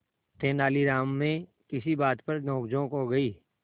तेनालीराम में किसी बात पर नोकझोंक हो गई